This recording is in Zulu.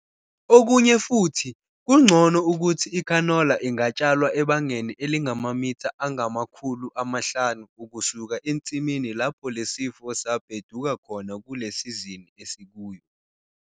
Okunye futhi, kungcono ukuthi ikhanola ingatshalwa ebangeni elingamamitha angama-500 ukusuka ensimini lapho le sifo sabheduka khona kule sizini esikuyo.